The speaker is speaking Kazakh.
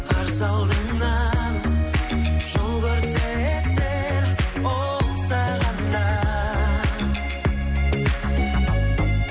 қарсы алдыңнан жол көрсетер ол саған да